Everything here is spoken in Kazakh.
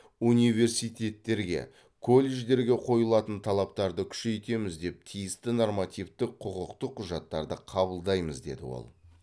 университетерге колледждерге қойылатын талаптарды күшейтеміз деп тиісті нормативтік құқықтық құжаттарды қабылдаймыз деді ол